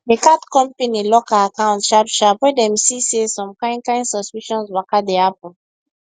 the card company lock her account sharp sharp when dem see say some kain kain suspicious waka dey happen